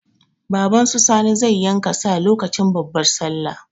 Baban su Sani zai yanka sa lokacin babban sallah.